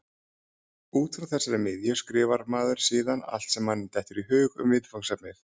Út frá þessari miðju skrifar maður síðan allt sem manni dettur í hug um viðfangsefnið.